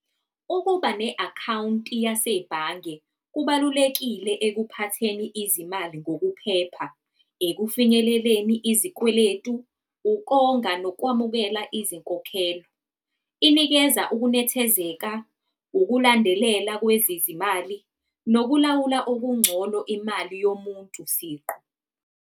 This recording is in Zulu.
Ukuba ne-akhawunti yasebhange kubalulekile ekuphatheni izimali ngokuphepha, ekufinyeleleni izikweletu, ukonga nokwamukela izinkokhelo. Inikeza ukunethezeka, ukulandelela kwezezimali, nokulawula okungcono imali yomuntu siqu.